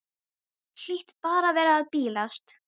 Hlýt bara að vera að bilast.